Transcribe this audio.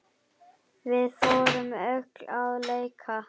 Við fórum öll að leika.